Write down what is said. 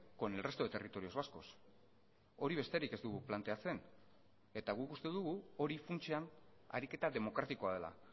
con el resto de territorios vascos hori besterik ez dugu planteatzen eta guk uste dugu hori funtsean ariketa demokratikoa dela